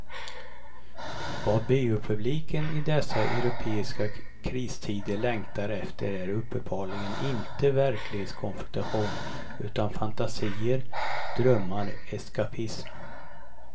Vad biopubliken i dessa europeiska kristider längtar efter är uppenbarligen inte verklighetskonfrontation utan fantasier, drömmar, eskapism.